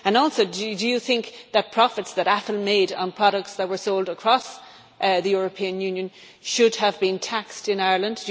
Also, do you think that profits that Apple made on products that were sold across the European Union should have been taxed in Ireland?